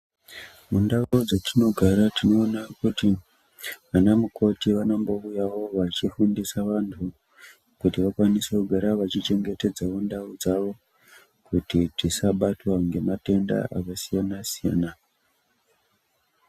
Mundau dzetinogara tinoona kuti vanamukoti vanombouyavo vachifundisa vantu kuti vakwanise kugara vachichengetedza ndau. Kuti tisabatwa ngematenda akasiyana-siyana.